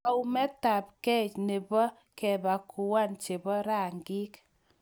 Kaumetabgei nebo kebakuan chebo rangik.